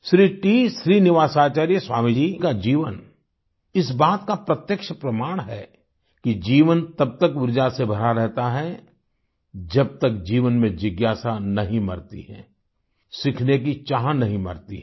Shri T Srinivasacharya Swami ji का जीवन इस बात का प्रत्यक्ष प्रमाण है कि जीवन तब तक उर्जा से भरा रहता है जब तक जीवन में जिज्ञासा नहीं मरती है सीखने की चाह नहीं मरती है